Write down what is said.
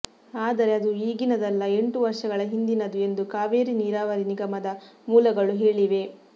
ಆದರೆ ಅದು ಈಗಿನದಲ್ಲ ಎಂಟು ವರ್ಷಗಳ ಹಿಂದಿನದು ಎಂದು ಕಾವೇರಿ ನೀರಾವರಿ ನಿಗಮದ ಮೂಲಗಳು ಹೇಳಿವೆ